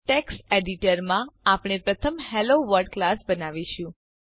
text editor માં આપણે પ્રથમ હેલોવર્લ્ડ ક્લાસ બનાવીશું